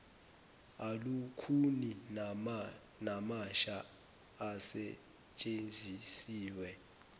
alukhuni namasha asetshenzisiwe